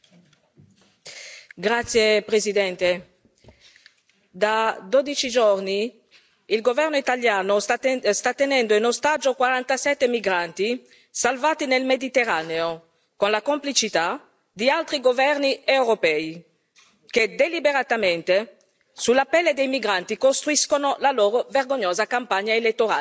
Signor Presidente, onorevoli colleghi, da dodici giorni il Governo italiano sta tenendo in ostaggio 47 migranti salvati nel Mediterraneo, con la complicità di altri governi europei che, deliberatamente, sulla pelle dei migranti, costruiscono la loro vergognosa campagna elettorale.